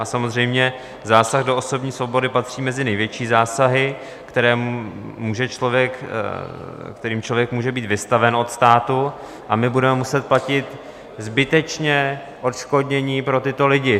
A samozřejmě zásah do osobní svobody patří mezi největší zásahy, kterým člověk může být vystaven od státu, a my budeme muset platit zbytečně odškodnění pro tyto lidi.